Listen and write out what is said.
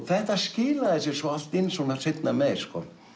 þetta skilaði sér svo allt inn svona seinna meir